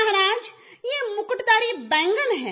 महाराज ये मुकुटधारी बैंगन है